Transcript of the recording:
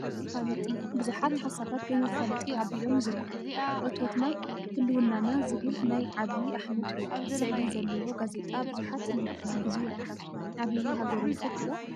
መፋለጢ ቡዙሓት ሓሳባት ብመፋለጢ አቢሎም ይዝርግሑ፡፡ እቶትና ህልውናና ዝብል ናይ ዐብይ አሕመድ ስእሊ ዘለዎ ጋዜጣ ቡዙሕ መልእክቲ ሒዙ ይርከብ፡፡ ዐብይ ሀገሩ ይፈቱ ዶ?